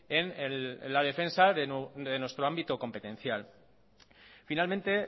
en la defensa de nuestro ámbito competencial finalmente